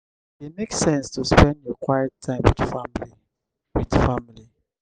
e dey make sense to spend your quiet time wit family. wit family.